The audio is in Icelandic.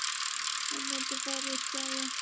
Ég mundi fara upp, sagði ég.